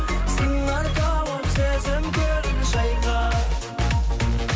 сыңар тауып сезім көлін шайқа